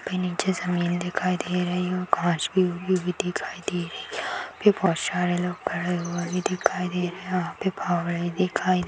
के नीचे जमीन दिखाई दे रही है और घाँस भी उगी हुई दिखाई दे रही है यहा पे बहुत सारे लोग खड़े हुए भी दिखाई दे रहे है वहा पे दिखाई--